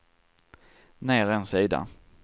ner en sida